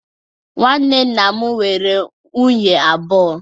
Nwanne nna m nwere nwunye abụọ.